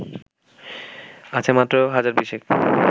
আছে মাত্র হাজার বিশেক